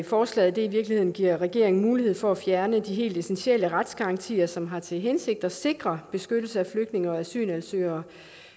forslaget i virkeligheden giver regeringen mulighed for at fjerne de helt essentielle retsgarantier som har til hensigt at sikre beskyttelse af flygtninge og asylansøgere